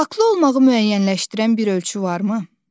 Haqqlı olmağı müəyyənləşdirən bir ölçü varmı?